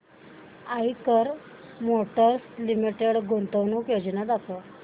Eicher motors limited गुंतवणूक योजना दाखव